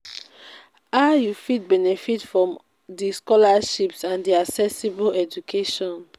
how you fit benefit from di scholarships and di accessible education?